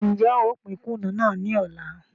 N jẹ ó pín Kùnú náà ni ọ̀la.